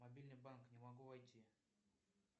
мобильный банк не могу войти